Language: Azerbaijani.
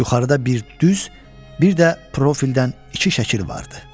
Yuxarıda bir düz, bir də profildən iki şəkil vardı.